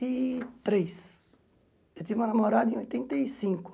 E três eu tive uma namorada em oitenta e cinco.